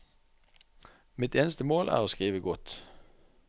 Mitt eneste mål er å skrive godt.